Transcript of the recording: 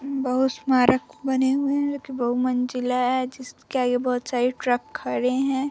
बहुस्मारक बने हुए हैं। एक बहुमंजिला है जिसके आगे बहुत सारी ट्रक खड़े हैं।